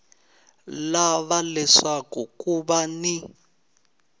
lava leswaku ku va ni